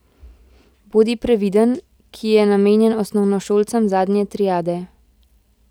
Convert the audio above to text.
Bodi previden, ki je namenjen osnovnošolcem zadnje triade.